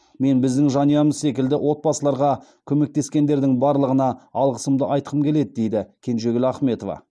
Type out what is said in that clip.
мен біздің жанұямыз секілді отбасыларға көмектескендердің барлығына алғысымды айтқым келеді дейді кенжегүл ахметова